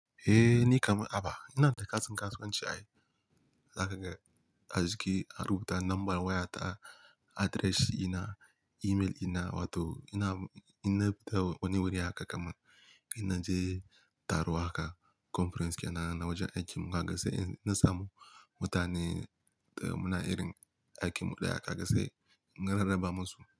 Eh ni kamar aba, ina da katin kasuwanci ai. Zaka ga ajiki, a rubuta namban wayata, address ina, email ina wato ina, ina fita wani wuri haka kamar ina je taro haka conference ke nan wajen aikin mu haka sai in na samu mutane da muna irin aikin mu ɗaya kaga sai na rarraba masu.